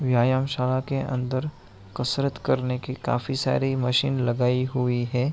व्यामशाला के अंदर कसरत करने के लिए काफी सारी मशीन लगायी हुई है।